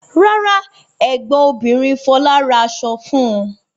Rárá, ẹ̀gbọ́n obìnrin Fọlá ra aṣọ fún un.